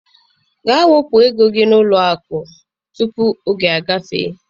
Gaa wepụ ego gị n'ụlọ akụ, tupu oge agafee.